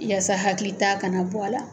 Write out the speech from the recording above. Yasa hakili ta kana bɔ a la.